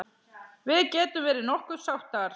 Við getum verið nokkuð sáttar.